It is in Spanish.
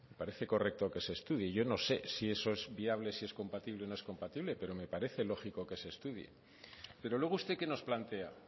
parece correcto que se estudie yo no sé si eso es viable si es compatible o no es compatible pero me parece lógico que se estudie pero luego usted qué nos plantea